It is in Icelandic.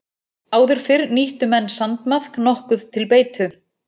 Áður fyrr nýttu menn sandmaðk nokkuð til beitu.